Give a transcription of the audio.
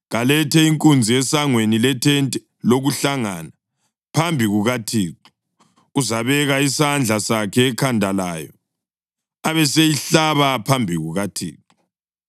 Kalethe inkunzi esangweni lethente lokuhlangana, phambi kukaThixo. Uzabeka isandla sakhe ekhanda layo, abeseyihlaba phambi kukaThixo.